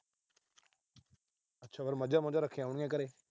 ਅੱਛਾ, ਫਿਰ ਮੱਝਾਂ ਮੁਝਾਂ ਰੱਖੀਆਂ ਹੋਣੀਆਂ ਘਰੇ।